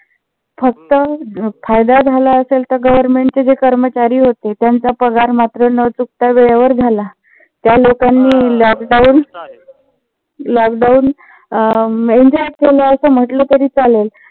फक्त फायदा झाला असेल तर government जे कर्मचारी होते. त्यांचा पगार मात्र न चुकता वेळेवर झाला त्या लोकांनी lockdown lockdown enjoy केला अस म्हंटल तरी चालेल.